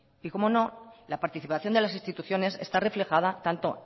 y cómo no la participación de las instituciones está reflejada tanto